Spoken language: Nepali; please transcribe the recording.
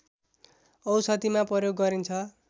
औषधिमा प्रयोग गरिन्छ